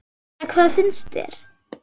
Eða hvað finnst þér?